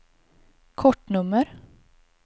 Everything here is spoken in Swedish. kortnummer